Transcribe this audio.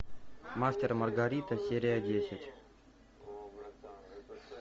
мастер и маргарита серия десять